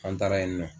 An taara yen nɔ